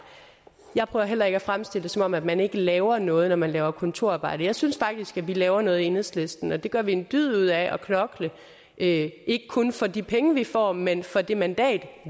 jeg prøver heller ikke at fremstille det som om man man ikke laver noget når man laver kontorarbejde jeg synes faktisk at vi laver noget i enhedslisten vi gør en dyd ud af at knokle ikke kun for de penge vi får men for det mandat